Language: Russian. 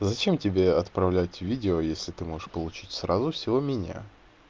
зачем тебе отправлять видео если ты можешь получить сразу всё у меня